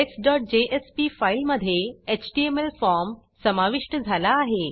indexजेएसपी फाईलमधे HTML form समाविष्ट झाला आहे